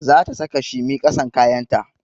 Za ta saka shimi ƙasan kayan ta